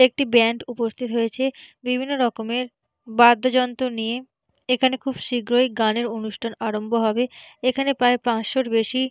একটি ব্যান্ড উপস্তিত হয়েছে বিভিন্ন রকমের বাদ্যযন্ত্র নিয়ে। এখানে খুব শীঘ্রই গানের অনুষ্ঠান আরম্ভ হবে এখানে প্রায় পাঁচশোর বেশি--